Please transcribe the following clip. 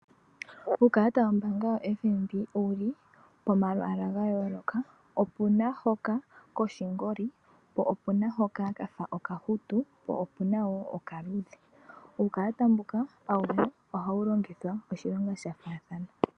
Uukalata wombaanga ya FNB owuli po malwalwa ga yooloka. Opuna hoka koshingoli, opuna hoka kafa okahutu, po opuna wo okaluudhe . Uukalata mbuka awuhe ohawu longithwa oshilonga sha faathana.